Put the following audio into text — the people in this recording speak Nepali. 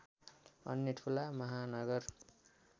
अन्य ठूला महानगर